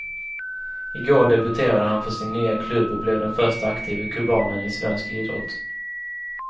I går debuterade han för sin nya klubb och blev den förste aktive kubanen i svensk idrott.